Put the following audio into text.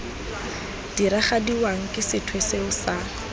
diragadiwang ke sethwe seo sa